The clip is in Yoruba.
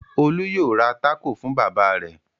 Olú yóò ra tákò fún bàbá rẹ̀!